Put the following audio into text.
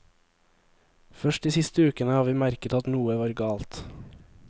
Først de siste ukene har vi merket at noe var galt.